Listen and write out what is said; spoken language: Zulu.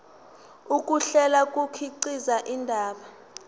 ukuhlela kukhiqiza indaba